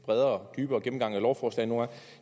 bredere dybere gennemgang af lovforslagene